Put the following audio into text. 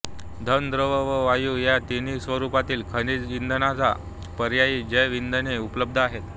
घन द्रव व वायू या तिन्ही स्वरूपातील खनिज इंधनांना पर्यायी जैव इंधने उपलब्ध आहेत